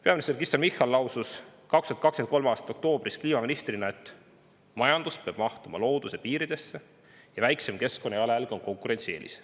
Peaminister Kristen Michal lausus 2023. aasta oktoobris kliimaministrina, et majandus peab mahtuma looduse piiridesse ja väiksem keskkonnajalajälg on konkurentsieelis.